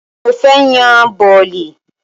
Mo fẹ́ yan bọ̀lì